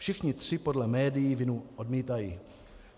Všichni tři podle médií vinu odmítají.